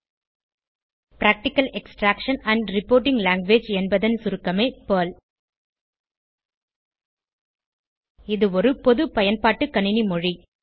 practical extraction and reporting language என்பதன் சுருக்கமே Perl இது ஒரு பொது பயன்பாட்டு கணினி மொழி